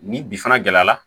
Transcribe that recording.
Ni bi fana gɛlɛyara